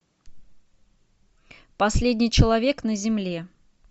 последний человек на земле